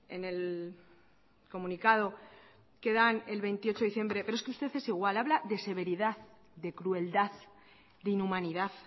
en el comunicado que dan el veintiocho de diciembre pero es que usted es igual habla de severidad de crueldad de inhumanidad